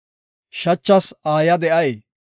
Shachas aayiya de7ay?